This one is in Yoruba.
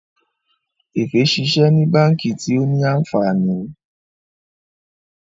Efe ṣiṣẹ ní bánkì tio ní ànfàní.